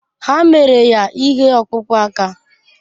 Ha mere ya ihe ọkpụkpụ aka.